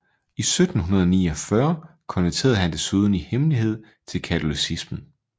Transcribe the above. I 1749 konverterede han desuden i hemmelighed til katolicismen